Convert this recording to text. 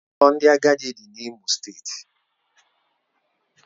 Ụlọ ndị agadi dị n'Imo steeti